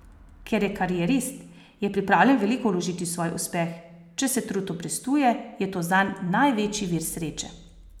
Ker je karierist, je pripravljen veliko vložiti v svoj uspeh, če se trud obrestuje, je to zanj največji vir sreče.